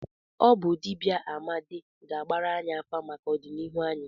Ọ bụ dibịa Amadi ga-agbara anyị afa maka ọdịnihu anyị.